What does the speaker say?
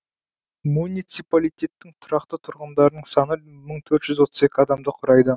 муниципалитеттің тұрақты тұрғындарының саны мың төрт жүз он екі адамды құрайды